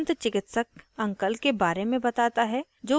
suresh ramu को धैर्यपूर्वक सुनता है